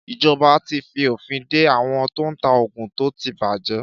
Ìjoba tí fi òfin de àwon tó n ta ògùn tó ti bàjé